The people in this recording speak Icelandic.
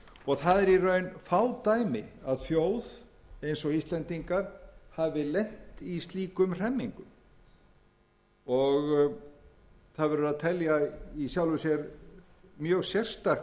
það eru í raun fá dæmi að þjóð eins og íslendingar hafi lent í slíkum hremmingum og það verður að telja í sjálfu sér mjög sérstakt að þannig skuli hafa verið haldið